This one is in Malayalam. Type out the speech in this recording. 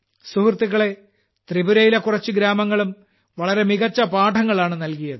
സുഹൃത്തുക്കളെ തൃപുരയിലെ കുറച്ചു ഗ്രാമങ്ങളും വളരെ മികച്ച പാഠങ്ങളാണ് നൽകിയത്